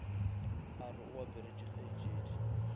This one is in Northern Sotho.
a re o aparetše kgaetšedi